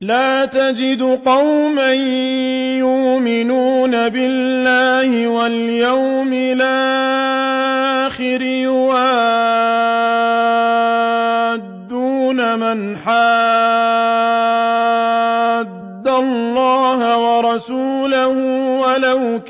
لَّا تَجِدُ قَوْمًا يُؤْمِنُونَ بِاللَّهِ وَالْيَوْمِ الْآخِرِ يُوَادُّونَ مَنْ حَادَّ اللَّهَ وَرَسُولَهُ وَلَوْ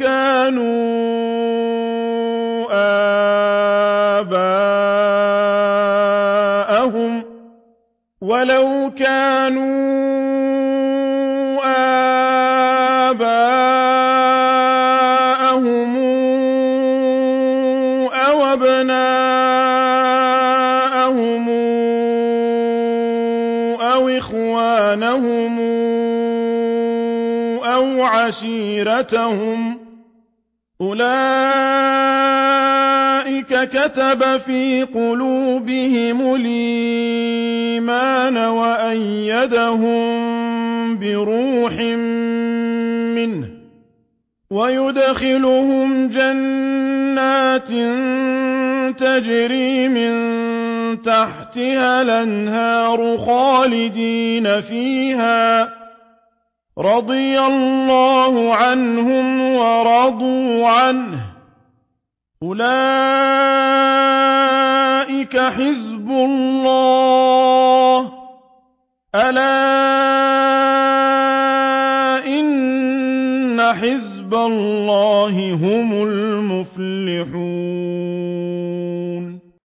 كَانُوا آبَاءَهُمْ أَوْ أَبْنَاءَهُمْ أَوْ إِخْوَانَهُمْ أَوْ عَشِيرَتَهُمْ ۚ أُولَٰئِكَ كَتَبَ فِي قُلُوبِهِمُ الْإِيمَانَ وَأَيَّدَهُم بِرُوحٍ مِّنْهُ ۖ وَيُدْخِلُهُمْ جَنَّاتٍ تَجْرِي مِن تَحْتِهَا الْأَنْهَارُ خَالِدِينَ فِيهَا ۚ رَضِيَ اللَّهُ عَنْهُمْ وَرَضُوا عَنْهُ ۚ أُولَٰئِكَ حِزْبُ اللَّهِ ۚ أَلَا إِنَّ حِزْبَ اللَّهِ هُمُ الْمُفْلِحُونَ